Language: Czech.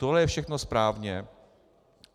Tohle je všechno správně.